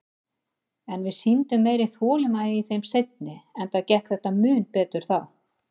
En við sýndum meiri þolinmæði í þeim seinni, enda gekk þetta mun betur þá.